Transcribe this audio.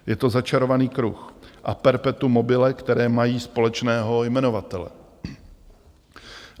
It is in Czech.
Je to začarovaný kruh a perpetum mobile, které mají společného jmenovatele.